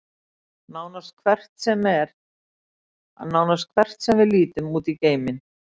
nánast hvert sem við lítum út í geiminn